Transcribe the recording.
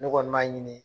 Ne kɔni b'a ɲini